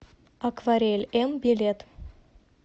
акварель м билет